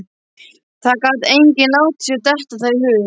Það gat enginn látið sér detta það í hug.